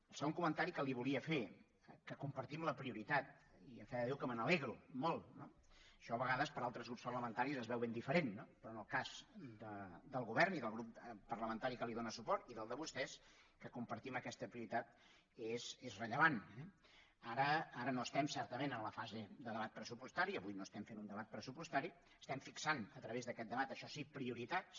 el segon comentari que li volia fer que compartim la prioritat i a fe de déu que me n’alegro molt no això a vegades per altres grups parlamentaris es veu ben diferent no però en el cas del govern i del grup parlamentari que li dóna suport i del de vostès que compartim aquesta prioritat és rellevant eh ara no estem certament en la fase de debat pressupostari avui no estem fent un debat pressupostari estem fixant a través d’aquest debat això sí prioritats